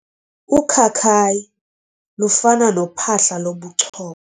Ukhakayi lufana nophahla lobuchopho.